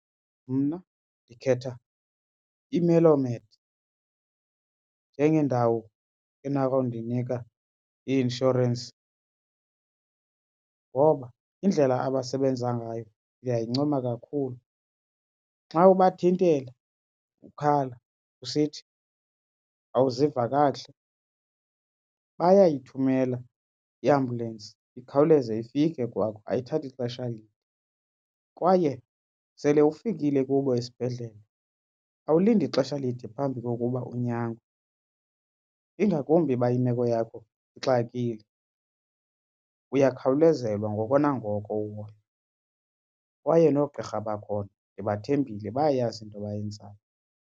Mna ndikhetha iMellow Mead njengendawo enako ukundinika i-inshorensi ngoba indlela abasebenza ngayo ndiyayincoma kakhulu. Xa ubathintela ukhala usithi awuziva kakuhle bayayithumela iambhyulensi ikhawuleze ifike kwakho ayithathi xesha lide. Kwaye sele ufikile kubo esibhedlele awulindi xesha lide phambi kokuba unyangwe ingakumbi uba imeko yakho ixakile uyakhawulezelwa ngoko nangoko uhoywa kwaye noogqirha bakhona ndibathembile bayayazi into abayenzayo.